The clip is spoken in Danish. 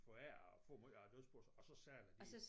Foræret får måj af æ dødsbos og så sælger de